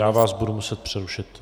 Já vás budu muset přerušit.